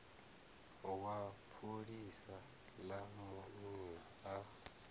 wa pholisa ḽa munna a